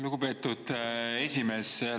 Lugupeetud esimees!